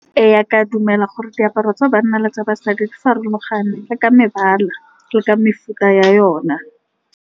Ee, ke a dumela, gore diaparo tsa banna le tsa basadi di farologana ka mebala le ka mefuta ya yona.